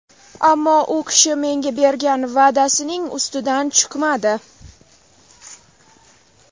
Ammo u kishi menga bergan va’dasining ustidan chiqmadi.